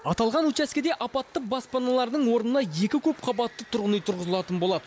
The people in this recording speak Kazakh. аталған учаскеде апатты баспаналардың орнына екі көпқабатты тұрғын үй тұрғызылатын болады